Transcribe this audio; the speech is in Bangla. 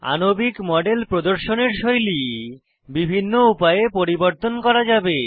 আণবিক মডেল প্রদর্শনের শৈলী বিভিন্ন উপায়ে পরিবর্তন করা যাবে